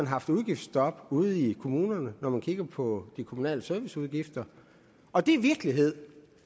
haft udgiftsstop ude i kommunerne når man kigger på de kommunale serviceudgifter og det er virkeligheden